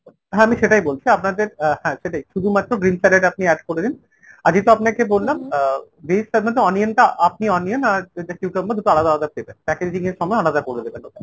হ্যাঁ আমি সেটাই বলছি আপনাদের হ্যাঁ সেটাই শুধুমাত্র green salad আপনি add করে দিন আগেইতো আপনাকে বললাম আহ onion টা আপনি onion আর cucumber টা দুটো আলাদা আলাদা দেবেন। packaging এর সময় আলাদা করে দেবেন।